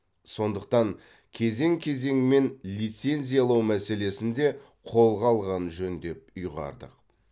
сондықтан кезең кезеңмен лицензиялау мәселесін де қолға алған жөн деп ұйғардық